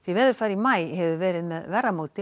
veðurfar í maí hefur verið með verra móti